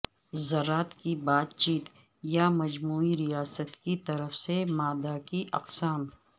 ذرات کی بات چیت یا مجموعی ریاست کی طرف سے مادہ کی اقسام